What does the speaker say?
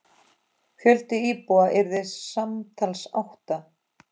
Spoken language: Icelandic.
Fjöldi íbúða yrði samtals átta.